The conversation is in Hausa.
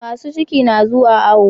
Masu ciki na zuwa awo